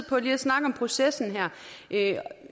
på lige at snakke om processen